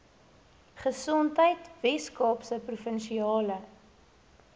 gesondheid weskaapse provinsiale